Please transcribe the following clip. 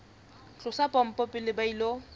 tlosa pompo pele ba ilo